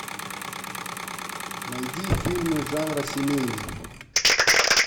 найди фильмы жанра семейный